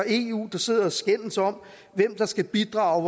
eu der sidder og skændes om hvem der skal bidrage